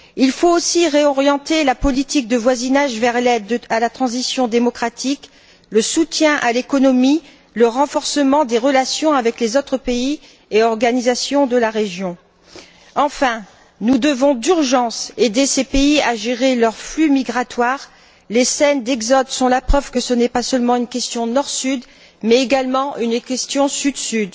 Il faut aussi réorienter la politique de voisinage vers l'aide à la transition démocratique, le soutien à l'économie, le renforcement des relations avec les autres pays et organisations de la région. Enfin, nous devons d'urgence aider ces pays à gérer leurs flux migratoires. Les scènes d'exode sont la preuve que ce n'est pas seulement une question Nord Sud mais également une question Sud Sud.